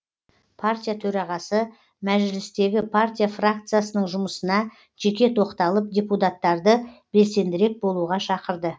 партия төрағасы мәжілістегі партия фракциясының жұмысына жеке тоқталып депутаттарды белсендірек болуға шақырды